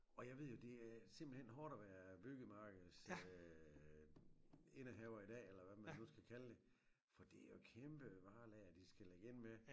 Og jeg ved jo det er simpelthen hårdt at være byggemarkeds øh indehaver i dag eller hvad man nu skal kalde det for det jo kæmpe varelager de skal ligge inde med